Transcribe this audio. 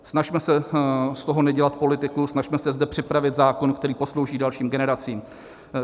Snažme se z toho nedělat politikum, snažme se zde připravit zákon, který poslouží dalším generacím.